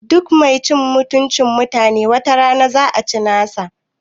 Duk mai cin mutuncin mutanen wata rana za a ci nasa